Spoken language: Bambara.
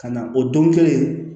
Ka na o don kelen